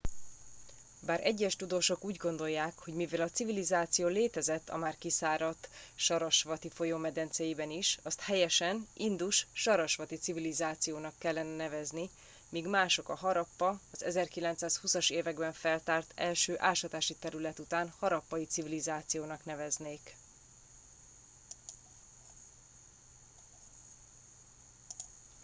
bár egyes tudósok úgy gondolják hogy mivel a civilizáció létezett a már kiszáradt sarasvati folyó medencéiben is azt helyesen indus sarasvati civilizációnak kellene nevezni míg mások a harappa az 1920 as években feltárt első ásatási terület után harappai civilizációnak neveznék